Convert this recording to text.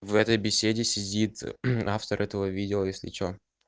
в этой беседе сидит автор этого видео если что